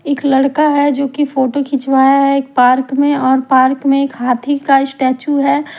एक लड़का है जो की फोटो खिंचवाया है एक पार्क में और पार्क में एक हाथी का स्टेचू है।